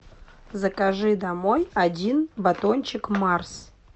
закажи домой один батончик марс